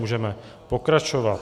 Můžeme pokračovat.